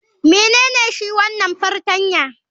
Menene shi wanan fartanya?